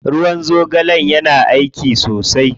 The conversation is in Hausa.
Ruwan zogale yana aiki sosai.